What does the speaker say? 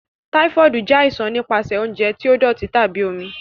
Typhoid jẹ aisan nipasẹ ounjẹ ti doti tabi omi.